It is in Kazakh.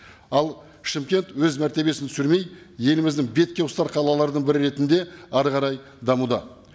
ал шымкент өз мәртебесін түсірмей еліміздің бетке ұстар қалалардың бірі ретінде әрі қарай дамуда